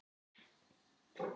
Eða skrifa eitt bréf?